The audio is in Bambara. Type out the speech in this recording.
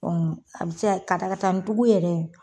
a bɛ se ka katakatanin tigiw yɛrɛ